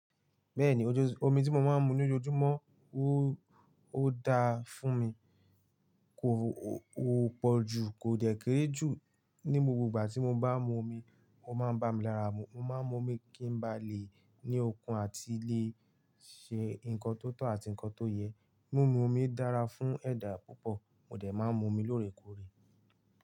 Bẹ́ẹ̀ni, ojú omi tí mo máa ń mú ní ojóójúmọ́ o ó da fún mi. Kò pọ̀ jù, kò dẹ̀ kírè jù. Ní gbogbo ìgbà tí mo bá mu omi, o máa bá mi lara mu. Mo máa mu omi kí n ba lè ní okun àti lè ṣe nǹkan tó tọ́ àti nǹkan tó yẹ. Mumu omi dára fún ẹ̀dá púpọ̀, mò dẹ̀ má mu omi lóòrèkóòrè.